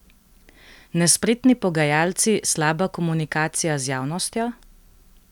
Nespretni pogajalci, slaba komunikacija z javnostjo?